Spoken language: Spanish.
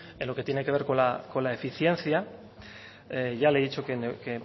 en lo que tiene que ver con la eficiencia ya le he dicho que